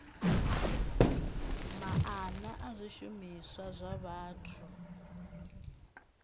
maana a zwishumiswa zwa vhathu